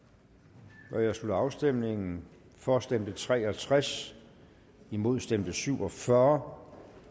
der jeg slutter afstemningen for stemte tre og tres imod stemte syv og fyrre